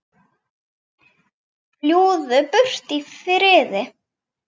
Fljúgðu burt í friði.